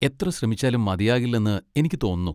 എത്ര ശ്രമിച്ചാലും മതിയാകില്ലെന്ന് എനിക്ക് തോന്നുന്നു.